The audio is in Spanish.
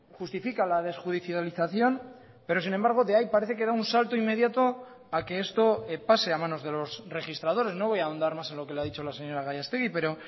justifica la desjudicialización pero sin embargo de ahí parece que da un salto inmediato a que esto pase a manos de los registradores no voy a ahondar más en lo que le ha dicho la señora gallastegui pero